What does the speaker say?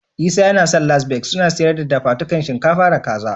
Isa ya san Las Begas suna siyar da dafadukan shinkafa da Kaza.